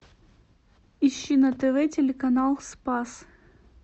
ищи на тв телеканал спас